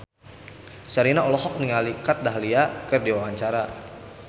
Sherina olohok ningali Kat Dahlia keur diwawancara